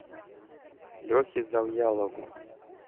лехе завьялову